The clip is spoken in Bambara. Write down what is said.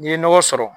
N'i ye nɔgɔ sɔrɔ